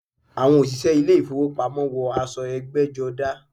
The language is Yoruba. Àwọn òṣìṣẹ́ ilé ìfowópamọ́ wọ aṣọ ẹgbẹ́jọdá.